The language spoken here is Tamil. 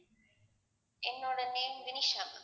என்னோட name வினிஷா